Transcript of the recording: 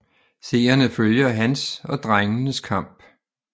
Seerne følger hans og drengenes kamp